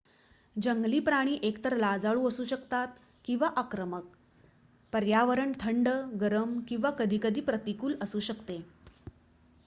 जंगली प्राणी हे एकतर लाजाळू असू शकतात किंवा आक्रमक पर्यावरण थंड गरम किंवा कधीकधी प्रतिकूल असू शकते